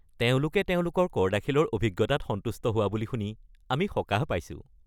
তেওঁলোকে তেওঁলোকৰ কৰ দাখিলৰ অভিজ্ঞতাত সন্তুষ্ট বুলি শুনি আমি সকাহ পাইছোঁ।